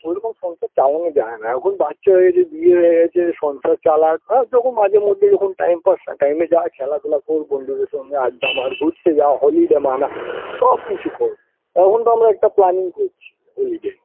ওরকম সংসার চালানো যাই না এখন বাচ্চা হয়ে গেছে বিয়ে হয়ে গেছে সংসার চালাক হ্যাঁ যখন মাঝেমধ্যে যখন time pass time -এ যা খেলাধুলো কর বন্ধুদের সঙ্গে আড্ডা মার ঘুরতে যা holiday মানা সব কিছু কর অখন তো আমরা planning করছি holiday -র